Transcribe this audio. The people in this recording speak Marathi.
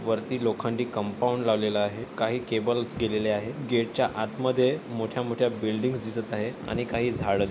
वरती लोखंडी कंपाऊंड लावलेल आहे काही केबल्स गेलेले आहे गेट च्या आत मध्ये मोठ्या मोठ्या बिल्डिंग्स दिसत आहे आणि काही झाड--